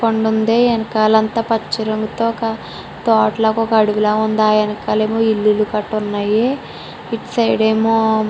కొండ ఉంది. వెనకాల అంతా పచ్చ రంగు రంగుతో ఒక తోటలా ఒక అడవిలో ఉంది . ఆ వెనకలేమో ఇల్లు కట్టు ఉన్నాయి. ఇట్ సైడ్ ఏమో--